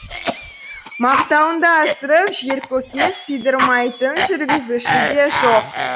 мақтауыңды асырып жер көкке сыйдырмайтын жүргізуші де жоқ